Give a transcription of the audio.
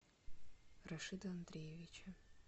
рашида андреевича